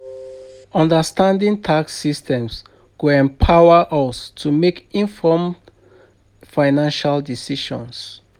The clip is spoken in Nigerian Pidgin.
Understanding tax systems go empower us to make informed financial decisions.